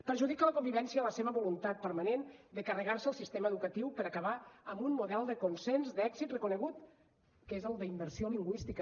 perjudica la convivència la seva voluntat permanent de carregar se el sistema educatiu per acabar amb un model de consens d’èxit reconegut que és el d’immersió lingüística